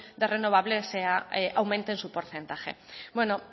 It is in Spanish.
de renovables aumente su porcentaje